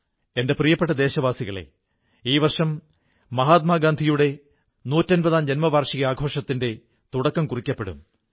എന്റെ പ്രിയപ്പെട്ട ദേശവാസികളേ ഈ വർഷം മഹാത്മാഗാന്ധിയുടെ നൂറ്റമ്പതാം ജയന്തി വർഷാഘോഷത്തിന്റെ തുടക്കം കുറിക്കപ്പെടും